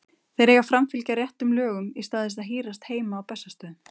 Þeir eiga að framfylgja réttum lögum í stað þess að hírast heima á Bessastöðum.